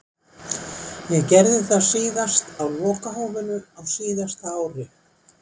Ég gerði það síðast á lokahófinu á síðasta ári.